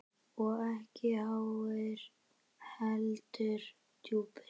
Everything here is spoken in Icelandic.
Og ekki háir, heldur djúpir.